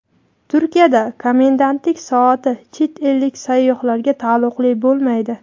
Turkiyada komendantlik soati chet ellik sayyohlarga taalluqli bo‘lmaydi.